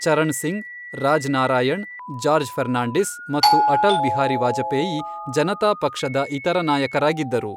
ಚರಣ್ ಸಿಂಗ್, ರಾಜ್ ನಾರಾಯಣ್, ಜಾರ್ಜ್ ಫರ್ನಾಂಡಿಸ್ ಮತ್ತು ಅಟಲ್ ಬಿಹಾರಿ ವಾಜಪೇಯಿ ಜನತಾ ಪಕ್ಷದ ಇತರ ನಾಯಕರಾಗಿದ್ದರು.